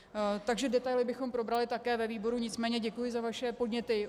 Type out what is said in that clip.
Takže detaily bychom probrali také ve výboru, nicméně děkuji za vaše podněty.